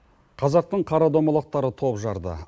қазақтың қара домалақтары топ жарды